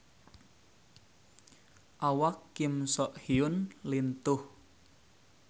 Awak Kim So Hyun lintuh